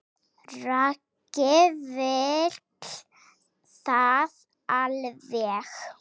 Raggi vill það alveg.